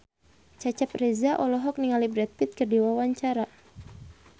Cecep Reza olohok ningali Brad Pitt keur diwawancara